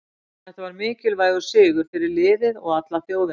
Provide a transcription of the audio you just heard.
Þetta var mikilvægur sigur fyrir liðið og alla þjóðina.